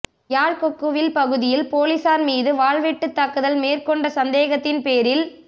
யாழ் கொக்குவில் பகுதியில் பொலிஸார் மீது வாள்வெட்டு தாக்குதல் மேற்கொண்ட சந்தேகத்தின் பேரில்